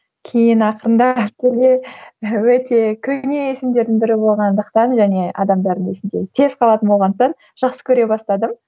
кейін ақырындап өте көне есімдердің бірі болғандықтан және адамдардың есінде тез қалатын болғандықтан жақсы көре бастадым